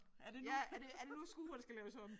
Er det nu er det er det nu skuret skal laves om